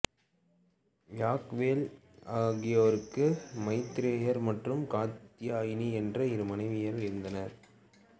யாக்யவல்க்கியருக்கு மைத்ரேயி மற்றும் காத்யாயனி என்ற இரு மனைவியர் இருந்தனர்